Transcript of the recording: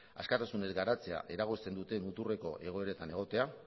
askatasunez garatzea eragozten duten muturreko egoeretan egotea